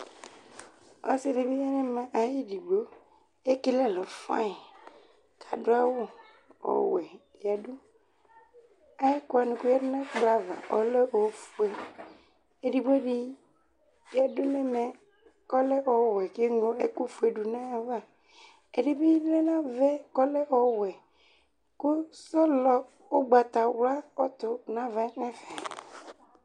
Ɔsɩ dɩ bɩ ya nɛmɛ ayɩdɩgbo, tekele ɛlʋ fanyɩ, kadʋ awʋ ɔwɛ yǝduAyɛkʋ wanɩ koyǝ du n 'ɛkplɔ ava ɔlɛ ofue, edigbo dɩ yǝdu nɛmɛ kɔlɛ ɔwɛ k 'eŋlo ɛkʋ fue dʋ nayava, ɛdɩ bɩ lɛ navaɛ kɔlɛ ɔwɛ , kʋ sɔlɔ ʋgbatawla ɔtʋ navɛ nɛfɛ